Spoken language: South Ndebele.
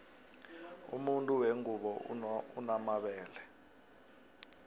umuntu wengubo unomabele